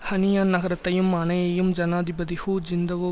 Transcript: ஹனியான் நகரத்தையும் அணையையும் ஜனாதிபதி ஹூ ஜிந்தவோ